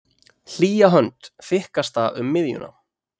Hlýja hönd, þykkasta um miðjuna.